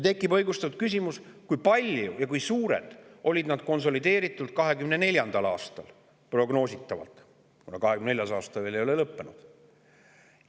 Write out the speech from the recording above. Tekib õigustatud küsimus, kui suured on need konsolideeritult 2024. aastal – prognoositavalt, kuna 2024. aasta ei ole veel lõppenud.